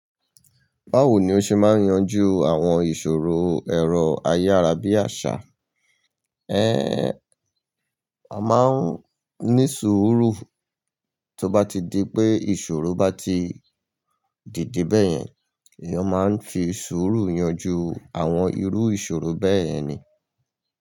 Báwo ni ó ṣe máa ń yanjú àwọn ìṣòro ẹ̀rọ ayárabíàṣá? A máa ń ní sùúrù tó bá ti di pé ìṣòro bá ti dìde bẹ́yẹn, èèyàn máa ń fi sùúrù yanjú àwọn irú ìṣòro bẹ́yẹn ni.